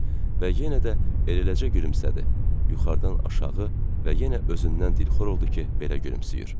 Və yenə də eləcə gülümsədi, yuxarıdan aşağı və yenə özündən dilxor oldu ki, belə gülümsəyir.